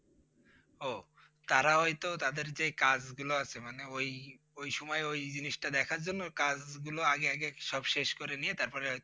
ও তারা হয়তো তাদের যে কাজ গুলো আছে মানে ওই, ওই সময়ে ওই জিনিসটা দেখার জন্য কাজ গুলো আগে আগে সব শেষ করে নিয়ে তারপরে হয়তো